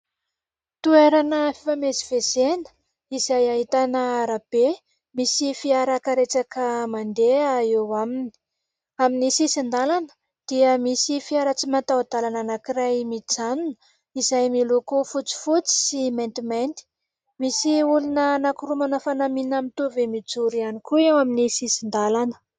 Toerana fifamezivezena izay ahitana arabe misy fiara karetsaka mandeha eo aminy. Amin'ny sisin-dalana dia misy fiara tsy mataho-dalana anankiray mijanona izay miloko fotsifotsy sy maintimainty. Misy olona anankiroa manao fanamiana mitovy mijory ihany koa eo amin'ny sisin-dalana.